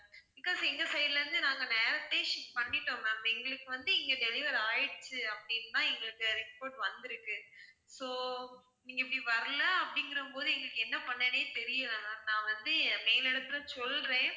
because எங்க side லருந்து நாங்க நேரத்தே ship பண்ணிட்டோம் ma'am, எங்களுக்கு வந்து இங்க deliver ஆயிடுச்சு அப்படின்னு தான் எங்களுக்கு report வந்துருக்கு so நீங்க இப்படி வரல அப்படிங்குற போது எங்களுக்கு என்ன பண்றதுனே தெரியல ma'am நான் வந்து மேல் இடத்துல சொல்றேன்,